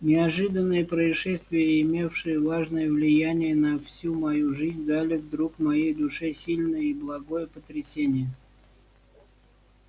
неожиданные происшествия имевшие важное влияние на всю мою жизнь дали вдруг моей душе сильное и благое потрясение